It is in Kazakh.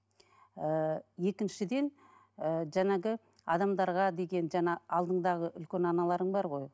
ііі екіншіден ііі жаңағы адамдарға деген жаңа алдыңдағы үлкен аналарың бар ғой